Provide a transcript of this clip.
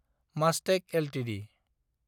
Mastek Ltd